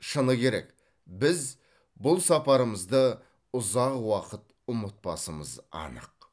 шыны керек біз бұл сапарымызды ұзақ уақыт ұмытпасымыз анық